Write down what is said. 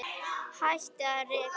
Hættið að reykja!